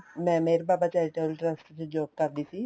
ਮੈਂ Meher Baba charitable trust ਚ job ਕਰਦੀ ਸੀ